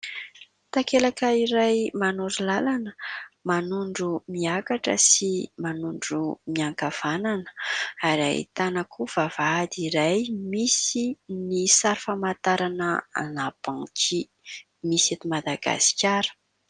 Takelaka iray manoro lalana manondro miakatra sy manondro miankavanana ary ahitana koa vavahady iray misy ny sary famantarana "banque" misy eto Madagasikara.